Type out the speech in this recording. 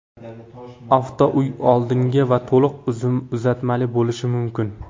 Avtouy oldingi va to‘liq uzatmali bo‘lishi mumkin.